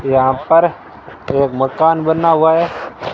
यहां पर एक मकान बना हुआ है।